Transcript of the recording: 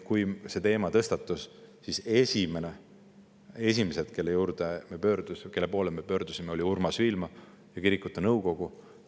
Kui see teema tõstatus, siis esimesed, kelle poole me pöördusime, olid Urmas Viilma ja kirikute nõukogu.